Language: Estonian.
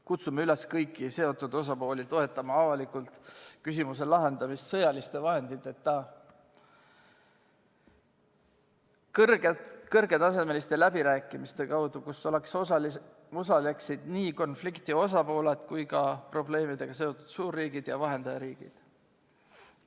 Kutsume kõiki seotud osapooli üles toetama avalikult küsimuse lahendamist sõjaliste vahenditeta, kõrgetasemeliste läbirääkimiste kaudu, kus osaleksid nii konflikti osapooled kui ka probleemidega seotud suurriigid ja vahendajariigid.